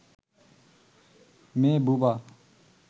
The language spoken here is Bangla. মেয়ে বোবা